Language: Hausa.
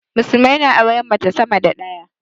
musulmai na auren mace sama da daya